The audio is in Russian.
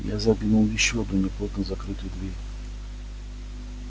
я заглянул ещё одну неплотно закрытую дверь